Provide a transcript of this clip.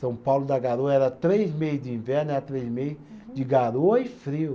São Paulo da Garoa era três meses de inverno, era três meses de garoa e frio.